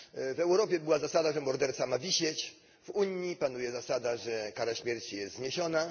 W Europie była zasada, że morderca ma wisieć w Unii panuje zasada, że kara śmierci jest zniesiona.